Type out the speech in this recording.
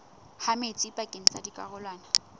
ha metsi pakeng tsa dikarolwana